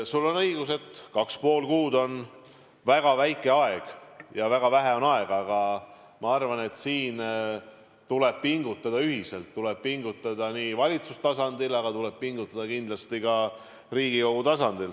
Sul on õigus, et kaks ja pool kuud on väga lühike aeg ja väga vähe on aega, aga ma arvan, et siin tuleb pingutada ühiselt, tuleb pingutada nii valitsustasandil, aga tuleb pingutada kindlasti ka Riigikogu tasandil.